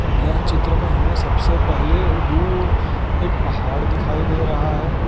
यह चित्र में हमें सबसे पहले दूर एक पहाड़ दिखाई दे रहा है।